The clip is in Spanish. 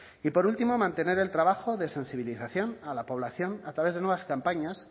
y por último mantener el trabajo de sensibilización a la población a través de nuevas campañas